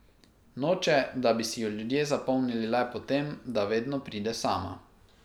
Noče, da bi si jo ljudje zapomnili le po tem, da vedno pride sama.